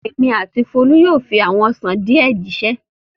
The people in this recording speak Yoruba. Èmi àti Folú yóò fi àwọn ọsàn díẹ̀ jíṣẹ́ lónìí.